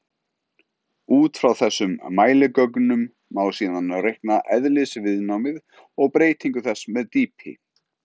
Út frá þessum mæligögnum má síðan reikna eðlisviðnámið og breytingu þess með dýpi.